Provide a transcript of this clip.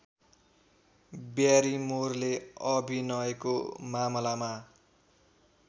ब्यारिमोरले अभिनयको मामलामा